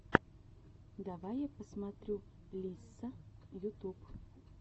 давай я посмотрю лисса ютуб